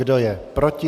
Kdo je proti?